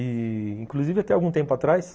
E, inclusive, até algum tempo atrás...